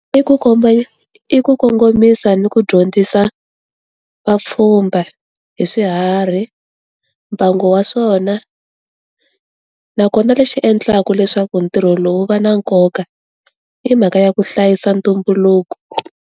I ku komba i ku kongomisa ni ku dyondzisa, vapfhumba, hi swiharhi, mbangu wa swona. Nakona lexi endlaku leswaku ntirho lowu wu va na nkoka, i mhaka ya ku hlayisa ntumbuluko.